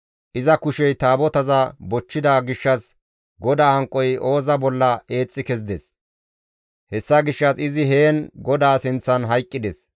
Iza kushey Taabotaza bochchida gishshas GODAA hanqoy Ooza bolla eexxi kezides; hessa gishshas izi heen GODAA sinththan hayqqides.